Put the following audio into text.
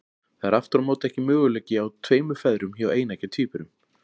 Það er aftur á móti ekki möguleiki á tveimur feðrum hjá eineggja tvíburum.